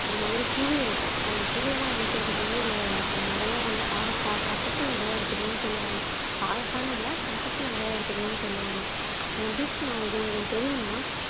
ஒரு மாதிரி புழு இருக்கும் அந்த புழுவெல்லாம் அழிக்கிறதுக்கு வந்து இத நிறைய வந்து பாகற்காய் கசப்பு நிறைய எடுத்துக்கணும்ன்னு சொல்லுவாங்க. பாவகாய்ன்னு இல்ல கசப்பு நிறைய எடுத்துக்கணும்ன்னு சொல்லுவாங்க. தீக்ஷனா இது உங்களுக்கு தெரியுமா